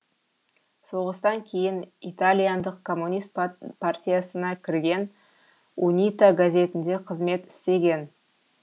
соғыстан кейін итальяндық коммунист партиясына кірген унита газетінде қызмет істеген